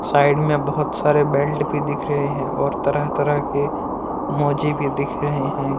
Side मे बहोत सारे बेल्ट भी दिख रहे है और तरह तरह के मोजे भी दिख रहे है।